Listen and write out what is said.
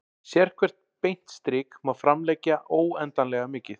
Sérhvert beint strik má framlengja óendanlega mikið.